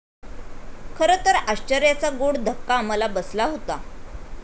खरं तर आश्चर्याचा गोड धक्का मला बसला होता.